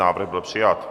Návrh byl přijat.